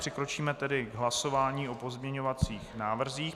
Přikročíme tedy k hlasování o pozměňovacích návrzích.